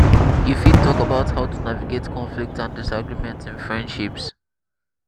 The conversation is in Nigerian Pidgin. you fit talk about how to navigate conflicts and disagreements in friendships.